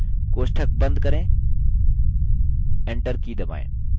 कोष्ठक बंद करें enter की दबाएँ